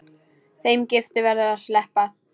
Þeim giftu verður að sleppa.